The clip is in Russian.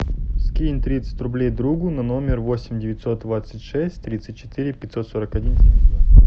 скинь тридцать рублей другу на номер восемь девятьсот двадцать шесть тридцать четыре пятьсот сорок один семьдесят два